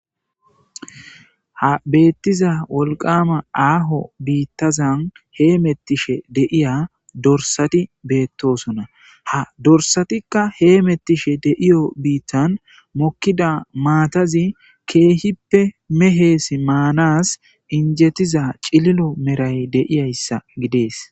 ha beettiza wolqama aaho biittazan he mettishe de'iya dorsati beettosona ha dorsatikka hee mettishe de'iyo biittan mokkida maatazi keehippe mehees maanas injetiza cililo meray deiyayssa gidees